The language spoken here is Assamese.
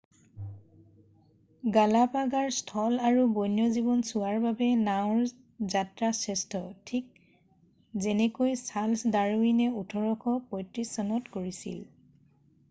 গালাপাগৰ স্থল আৰু বন্য জীৱন চোৱাৰ বাবে নাওঁৰ যাত্ৰা শ্ৰেষ্ঠ ঠিক যেনেকৈ চাৰ্লছ ডাৰউইনে 1835 চনত কৰিছিল